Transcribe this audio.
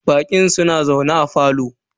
Baƙin suna zaune a parlour.